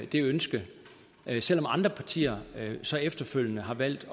det ønske selv om andre partier så efterfølgende har valgt